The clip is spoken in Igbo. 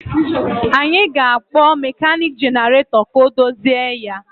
Anyị ga-akpọ mekaniki jenaratọ ka o dozie ya